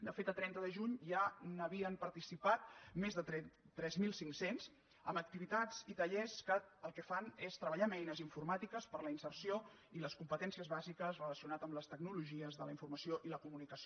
de fet a trenta de juny ja hi havien participat més de tres mil cinc cents en activitats i tallers que el que fan és treballar amb eines informàtiques per a la inserció i les competències bàsiques relacionades amb les tecnologies de la informació i la comunicació